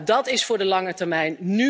Dat is voor de lange termijn.